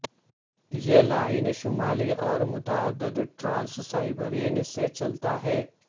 یہ لائن شمالی اور متعدد ٹرانس سائبیرین سے چلتا ہے